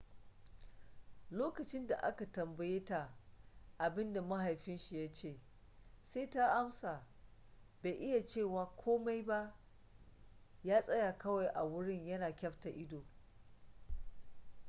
lokacin da aka tambaye ta abin da mahaifin ya ce sai ta amsa bai iya cewa komai ba ya tsaya kawai a wurin yana kyafta ido